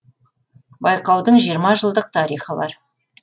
байқаудың жиырма жылдық тарихы бар